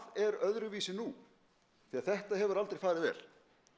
er öðruvísi nú því þetta hefur aldrei farið vel